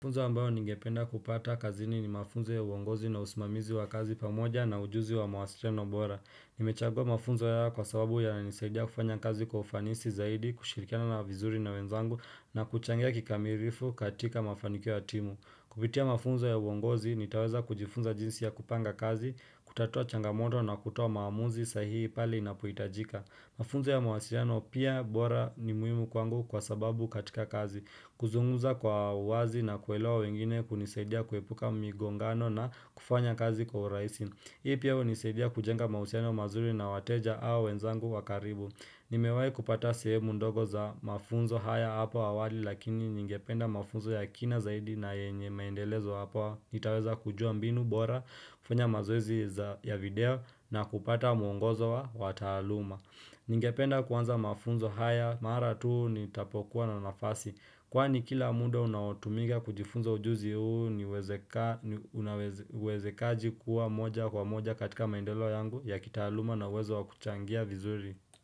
Mafunzo ambayo ningependa kupata kazini ni mafunzo ya uongozi na usimamizi wa kazi pamoja na ujuzi wa mawasiliano bora. Nimechagua mafunzo haya kwa sababu ya nisaidia kufanya kazi kwa ufanisi zaidi, kushirikana na vizuri na wenzangu na kuchangia kikamilifu katika mafanikio ya timu. Kupitia mafunzo ya uongozi, nitaweza kujifunza jinsi ya kupanga kazi, kutatua changamoto na kutoa maamuzi sahihi pale inapoitajika. Mafunzo ya mawasiliano pia bora ni muhimu kwangu kwa sababu katika kazi. Kuzungumza kwa wazi na kuelewa wengine kunisaidia kuepuka migongano na kufanya kazi kwa uraisi. Hii pia nisaidia kujenga mausiano mazuri na wateja au wenzangu wa karibu. Nimewai kupata sehemu ndogo za mafunzo haya hapo awali lakini ningependa mafunzo ya kina zaidi na yenye maendelezo hapa. Nitaweza kujua mbinu bora, kufanya mazoezi ya video na kupata muongozo wa wataaluma. Ningependa kuanza mafunzo haya mara tu nitapokuwa na nafasi. Kwani kila muda unaotumika kujifunzo ujuzi huu ni wezekaji kuwa moja kwa moja katika maendeleo yangu ya kitaaluma na uwezo wa kuchangia vizuri.